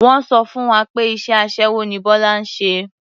Wọ́n sọ fún wa pé iṣẹ́ aṣẹ́wó ni Bọ́lá ń ṣe.